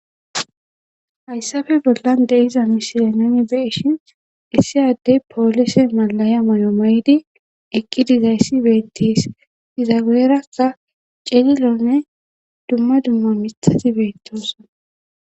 hayssafe bollan deiza misilenni nuni beeshin issiy addey poolise malaya moyo maydi eqqi dizayssi beettis iza guyeraka celilonne dumma dumma mithati beettoson